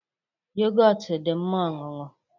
yogọt dị mma ọṅụṅụ